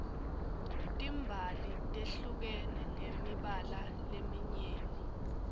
timbali tehlukene ngemibala leminyeni